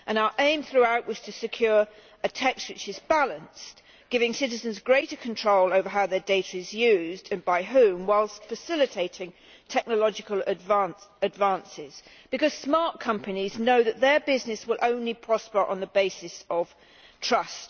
Our aim throughout was to secure a text which is balanced, giving citizens greater control over how their data is used, and by whom, whilst facilitating technological advances, because smart companies know that their business will only prosper on the basis of trust.